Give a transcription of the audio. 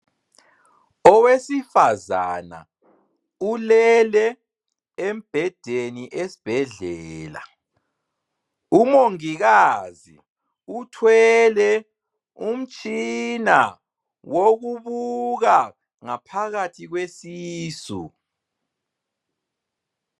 Owesifazana ulele embedeni esbhedlela. Umongikazi uthwele umtshina, wokubuka ngaphakathi kwesisu.